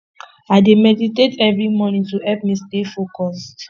i dey meditate every morning to help me stay focused